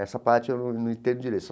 Essa parte eu não não entendo direito.